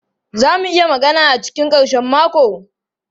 Za mu iya magana a cikin karshen mako?